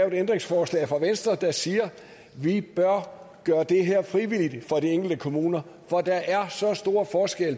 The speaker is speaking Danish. et ændringsforslag der siger at vi bør gøre det her frivilligt for de enkelte kommuner for der er så stor forskel